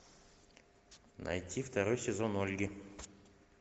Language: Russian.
найти второй сезон ольги